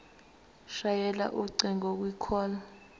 shayela ucingo kwicall